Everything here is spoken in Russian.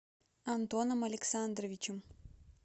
антоном александровичем